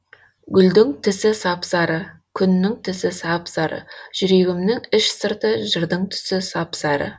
гүлдің тісі сап сары күннің тісі сап сары жүрегімнің іш сырты жырдың түсі сап сары